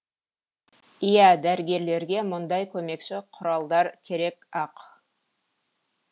иә дәрігерлерге мұндай көмекші құралдар керек ақ